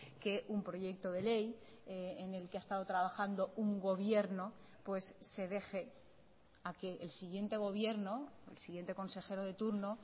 que un proyecto de ley en el que ha estado trabajando un gobierno pues se deje a que el siguiente gobierno el siguiente consejero de turno